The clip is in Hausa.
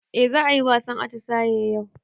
Eh za ayi wasan atisaye yau